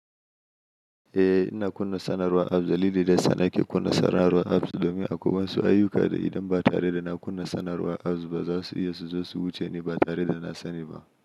Eh, ina kunna sanarwar apps dalili daya sana ke kunna sanarwar apps domin akwai wasu ayyuka da idan ba tare da na kunna sanarwar apps ba, za su iya su zo su wuce ni ba tare da na sani ba.